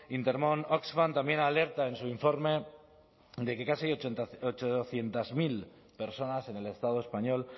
intermón oxfam también alerta en su informe de que casi ochocientos mil personas en el estado español